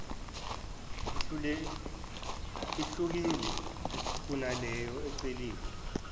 ihlukile kunaleyo eceliwe